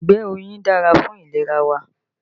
Ìgbẹ́ oyin dára fún ìlera wa